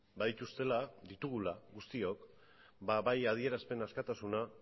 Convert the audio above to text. badituztela ditugula guztiok ba bai adierazpen askatasuna